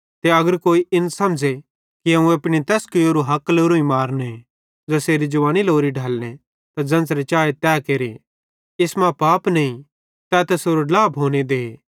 ते अगर कोई इन समझ़े कि अवं एपनी तैस कुवैरारू हक लोरोईं मारने ज़ेसेरी जवानी लोरी ढलने त ज़ेन्च़रे चाए तै केरे इस मां पाप नईं तै तैसेरो ड्ला भोने दे